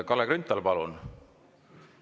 Kalle Grünthal, palun!